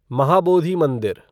महाबोधी मंदिर